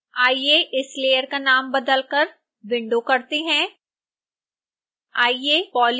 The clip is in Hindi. आइए इस लेयर का नाम बदलकर window करते हैं